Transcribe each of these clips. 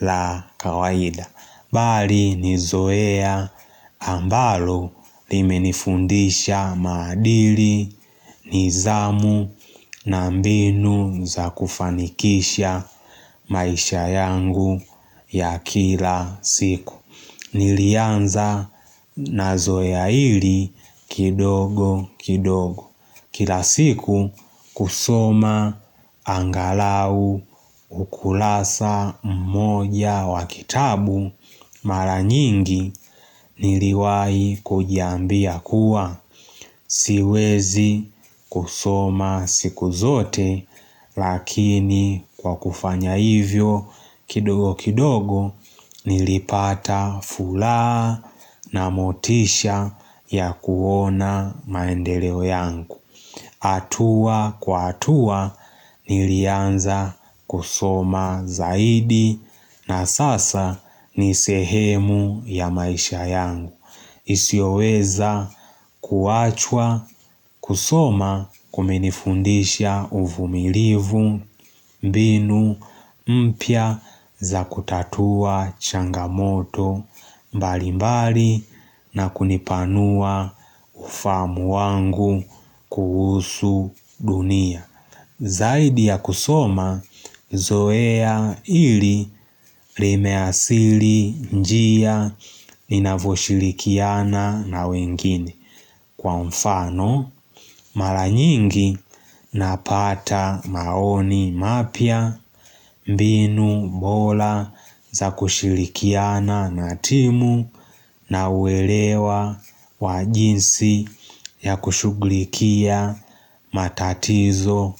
La kawaida Bali ni zoea ambalo limenifundisha madili nizamu na mbinu za kufanikisha maisha yangu ya kila siku. Nilianza na zoea ili kidogo kidogo Kila siku kusoma angalau ukulasa mmoja wa kitabu mara nyingi. Niliwai kujambia kuwa. Siwezi kusoma siku zote lakini kwa kufanya hivyo kidogo kidogo nilipata fula na motisha ya kuona maendeleo yangu. Atua kwa atua nilianza kusoma zaidi na sasa nisehemu ya maisha yangu. Isioweza kuachwa kusoma kumenifundisha uvumilivu mbinu mpya za kutatua changamoto. Mbali mbali na kunipanua ufamu wangu kuhusu dunia. Zaidi ya kusoma, zoea ili rimeasili njia ninavoshilikiana na wengine Kwa mfano, mala nyingi napata maoni mapia. Mbinu mbola za kushilikiana na timu na uelewa wajinsi ya kushuglikia matatizo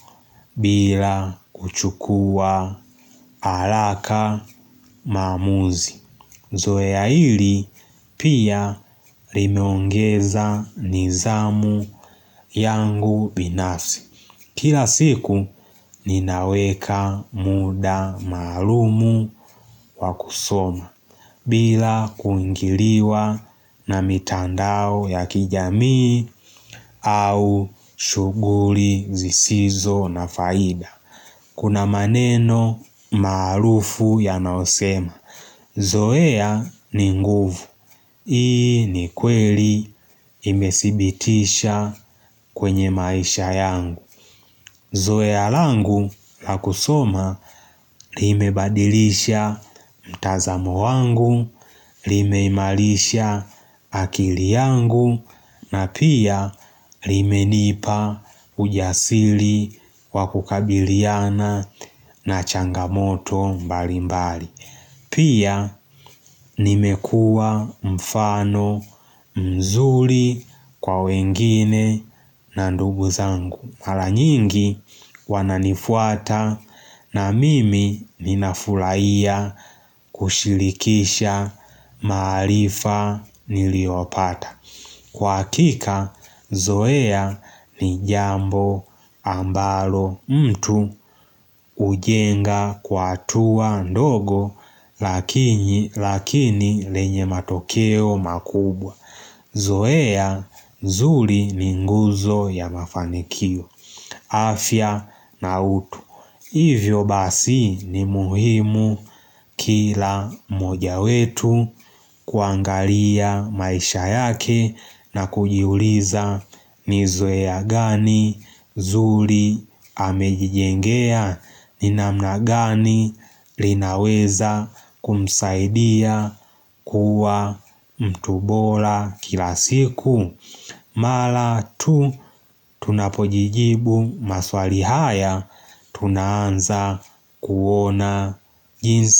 bila kuchukua alaka mamuzi. Zoe ya hili pia limiongeza nizamu yangu binafsi. Kila siku ninaweka muda maalumu wakusoma bila kuingiliwa na mitandao ya kijamii au shuguri zisizo na faida. Kuna maneno maalufu ya naosema. Zoea ni nguvu. Ii ni kweli imesibitisha kwenye maisha yangu. Zoe alangu la kusoma. Lime badilisha mtazamu wangu, lime imalisha akili yangu na pia lime nipa ujasili wakukabiliana na changamoto mbali mbali. Pia nimekua mfano mzuli kwa wengine na ndugu zangu Hala nyingi wananifuata na mimi ninafulaia. Kushilikisha maalifa niliopata Kwa kika, zoea ni jambo ambalo mtu. Ujenga kwa tuwa ndogo lakini. Lakini lenye matokeo makubwa. Zoea, zuli ni nguzo ya mafanikio, afya na utu. Hivyo basi ni muhimu kila moja wetu kuangalia maisha yake na kujiuliza nizwea gani zuli hamejijengea ni namna gani linaweza kumsaidia kuwa mtubola kila siku. Mala tu tunapojijibu maswali haya tunanza kuona jinsi.